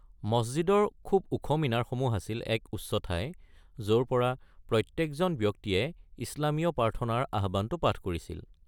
মছজিদৰ খুব ওখ মিনাৰসমূহ আছিল এক উচ্চ ঠাই য’ৰ পৰা প্ৰত্যেকজন ব্যক্তিয়ে ইছলামীয় প্ৰাৰ্থনাৰ আহ্বানটো পাঠ কৰিছিল।